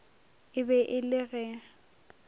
e be e le ge